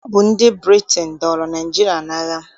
Ọ bụ ndị Britain dọọrọ Naịjirịa n'agha.